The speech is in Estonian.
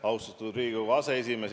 Austatud Riigikogu aseesimees!